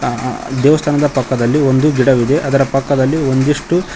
ಅ ದೇವಸ್ಥಾನದ ಪಕ್ಕದಲ್ಲಿ ಒಂದು ಗಿಡವಿದೆ ಅದರ ಪಕ್ಕದಲ್ಲಿ ಒಂದಿಷ್ಟು--